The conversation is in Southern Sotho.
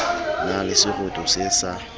na le seroto se sa